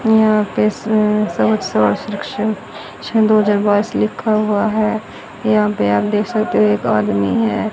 यहां पे अह सन दो हजार बाइस लिखा हुआ है यहां पे आप देख सकते हो एक आदमी है।